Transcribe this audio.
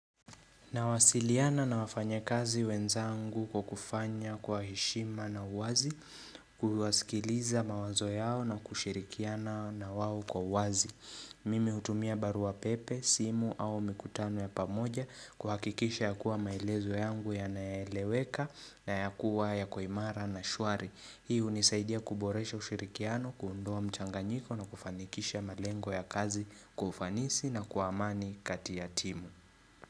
Nawasiliana na wafanyakazi wenzangu kwa kufanya kwa heshima na uwazi, kuwasikiliza mawazo yao na kushirikiana na wao kwa wazi. Mimi hutumia barua pepe, simu au mikutano ya pamoja kuhakikisha ya kuwa maelezo yangu yanaeleweka na yakuwa yako imara na shwari. Hii unisaidia kuboresha kushirikiano, kuundoa mchanganyiko na kufanikisha malengo ya kazi kwa ufanisi na kwa amani kati ya timu.